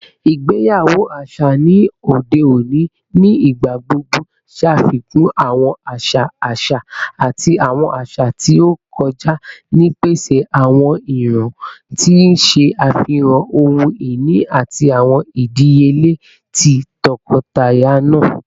Igbeyawo aṣa ni ode oni nigbagbogbo ṣafikun awọn aṣa aṣa ati awọn aṣa ti o kọja nipasẹ awọn iran, ti n ṣe afihan ohun-ini ati awọn idiyele ti tọkọtaya naa.